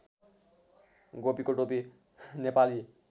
गोपीको टोपी नेपाली